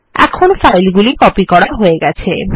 এখন ফাইলগুলি কপি করা হয়ে গেছে